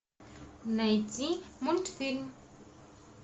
найти мультфильм